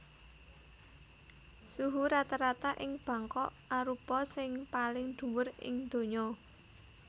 Suhu rata rata ing Bangkok arupa sing paling dhuwur ing donya